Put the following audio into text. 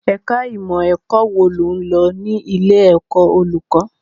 Ẹ̀ka ìmọ̀ ẹ̀kọ́ wo lo lọ ní ilé ẹ̀kọ́ olùkọ́?